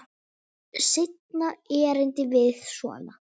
Seinna erindið var svona: